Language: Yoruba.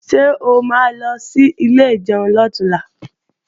Ṣé o ma lọ sí ilé ìjẹun lọ̀túnla?